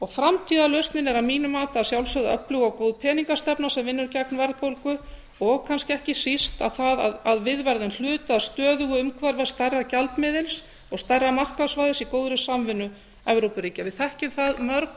framtíðarlausnin er að mínu mati að sjálfsögðu öflug og góð peningastefna sem vinnur gegn verðbólgu og kannski ekki síst að það að við verðum hluti af stöðugu umhverfi stærra gjaldmiðils og stærra markaðssvæðis í góðri samvinnu evrópuríkja við þekkjum það mörg